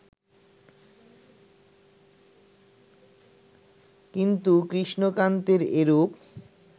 কিন্তু কৃষ্ণকান্তের এরূপ